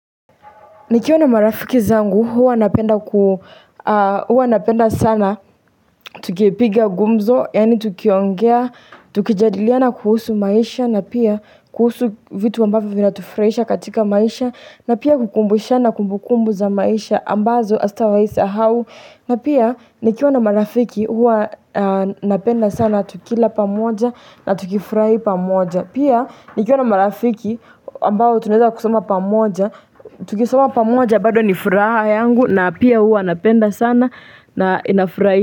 Nikiwa na marafiki zangu huwa napenda sana tukipiga gumzo, yani tukiongea, tukijadiliana kuhusu maisha, na pia kuhusu vitu ambavyo vinatufurahisha katika maisha, na pia kukumbushana kumbukumbu za maisha ambazo azitawaisahau. Na pia nikiwa na marafiki hua napenda sana tukila pamoja na tukifurahi pamoja. Pia nikiwa na marafiki ambao tunaeza kusoma pamoja, tukisoma pamoja bado ni furaha yangu na pia hua napenda sana na inafurahi.